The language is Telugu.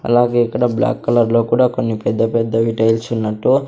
అలాగే ఇక్కడ బ్లాక్ కలర్ లో కూడా కొన్ని పెద్ద పెద్ద వి టైల్స్ ఉన్నట్టు.